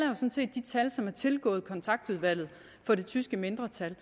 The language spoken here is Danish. som er tilgået kontaktudvalget for det tyske mindretal